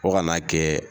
Fo ka n'a kɛ